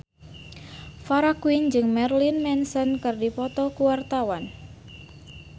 Farah Quinn jeung Marilyn Manson keur dipoto ku wartawan